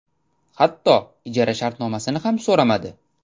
Hatto ijara shartnomasini ham so‘ramadi.